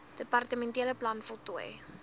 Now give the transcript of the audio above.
departementele plan voltooi